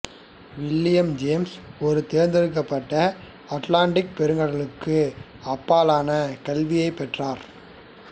William James ஒரு தேர்ந்தெடுக்கப்பட்ட Atlantic பெருங்கடலுக்கு அப்பாலான கல்வியைப் பெற்றார்